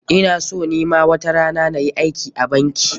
Ina son ni ma watarana na yi aiki a banki.